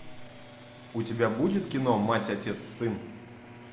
у тебя будет кино мать отец сын